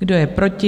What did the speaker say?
Kdo je proti?